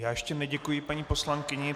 Já ještě neděkuji paní poslankyni.